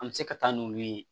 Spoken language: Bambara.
An bɛ se ka taa n'olu ye